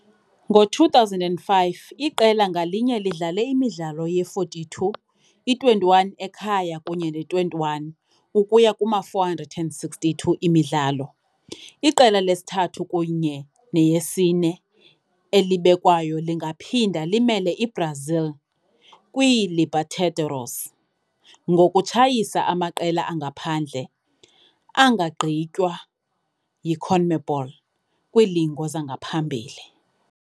Ngo-2005, iqela ngalinye lidlale imidlalo ye-42, i-21 ekhaya kunye ne-21, ukuya kuma-462 imidlalo. Iqela lesithathu kunye neyesine elibekwayo lingaphinda limele iBrazil kwiiLebertadores ngokutshayisa amaqela angaphandle angagqitywa yiConmebol kwiilingo zangaphambili.